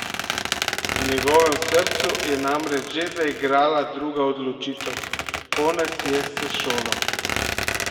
V njegovem srcu je namreč že zaigrala druga odločitev: "Konec je s šolo.